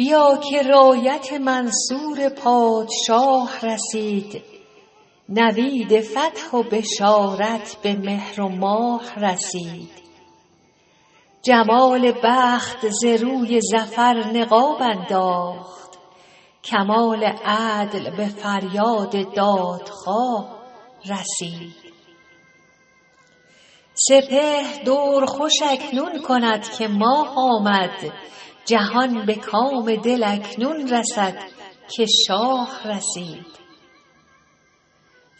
بیا که رایت منصور پادشاه رسید نوید فتح و بشارت به مهر و ماه رسید جمال بخت ز روی ظفر نقاب انداخت کمال عدل به فریاد دادخواه رسید سپهر دور خوش اکنون کند که ماه آمد جهان به کام دل اکنون رسد که شاه رسید